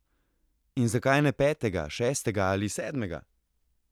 In zakaj ne petega, šestega ali sedmega?